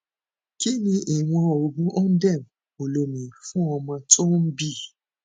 kí ni ìwọn oògun ondem olómi fún ọmọ tó ń bì